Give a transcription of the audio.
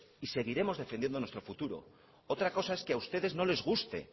y seguiremos defendiendo nuestro futuro otra cosa es que a ustedes no les guste